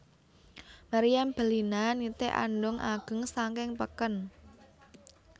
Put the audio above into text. Meriam Bellina nitih andhong ageng saking peken